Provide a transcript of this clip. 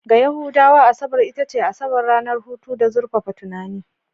Ga Yahudawa, Asabar ita ce Asabar, ranar hutu da zurfafa tunani.